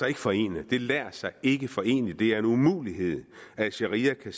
ikke forene det lader sig ikke forene det er en umulighed at sharia kan